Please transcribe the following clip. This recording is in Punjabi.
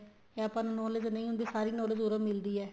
ਇਹ ਆਪਾਂ ਨੂੰ knowledge ਨਹੀਂ ਹੁੰਦੀ ਸਾਰੀ knowledge ਉੱਰੋ ਮਿਲਦੀ ਏ